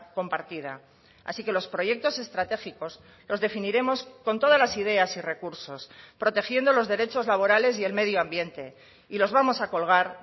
compartida así que los proyectos estratégicos los definiremos con todas las ideas y recursos protegiendo los derechos laborales y el medio ambiente y los vamos a colgar